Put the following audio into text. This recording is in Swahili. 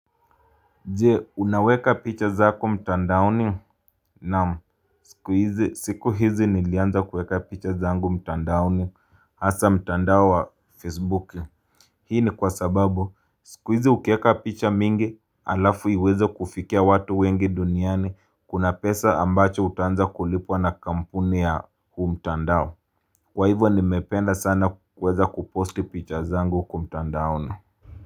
Je, unaweka picha zako mtandaoni? Naam. Siku hizi nilianza kuweka picha zangu mtandaoni hasa mtandao wa Facebook. Hii ni kwa sababu, siku hizi ukiweka picha mingi halafu iweze kufikia watu wengi duniani. Kuna pesa ambazo utaanza kulipwa na kampuni ya huu mtandao. Kwa hivyo nimependa sana kuweza kuposti picha zangu kwa mtandaoni.